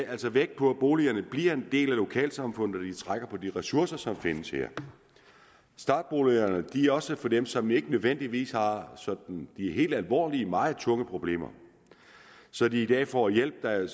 altså vægt på at boligerne bliver en del af lokalsamfundet og trækker på de ressourcer som findes der startboligerne er også for dem som ikke nødvendigvis har sådan helt alvorlige og meget tunge problemer så de i dag får hjælp at